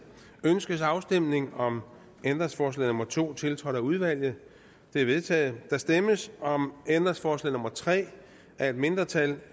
ønskes afstemning om ændringsforslag nummer to tiltrådt af udvalget det er vedtaget der stemmes om ændringsforslag nummer tre af et mindretal